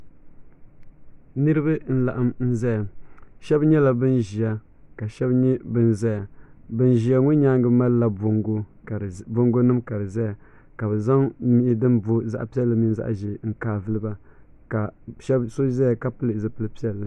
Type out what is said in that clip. Niribi n laɣim n ʒaya. shebi ban ʒiya kashebi nyɛ ban ʒaya ban ʒiya ŋɔ nyaaŋa malila boŋgo nim kadi zaya kabɛ zaŋ mii din boo zaɣipiɛli mini zaɣi ʒɛɛ n ka n giliba kaso zaya kapili zipili piɛli